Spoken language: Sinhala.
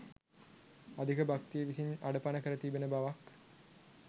අධික භක්තිය විසින් අඩපන කර තියන බවක්